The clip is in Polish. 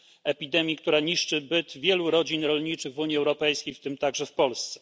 epidemii, która niszczy byt wielu rodzin rolniczych w Unii Europejskiej, w tym także w Polsce.